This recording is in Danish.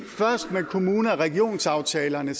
først med kommune og regionsaftalerne